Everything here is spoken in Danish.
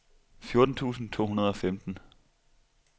fjorten tusind to hundrede og femten